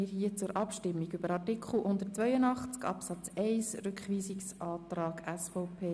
Wir kommen zur Abstimmung über den Rückweisungsantrag der SVP zu Artikel 182 Absatz 1.